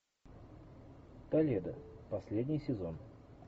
толедо последний сезон